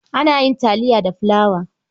Ana yin taliya da fulawa.